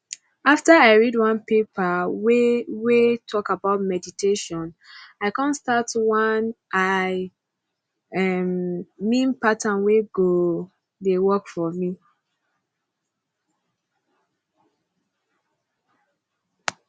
after i read one paper wey wey talk about meditation i come start one i um mean pattern wey go dey work for me